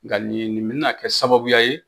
Nka nin ye nin bɛna kɛ sababuya ye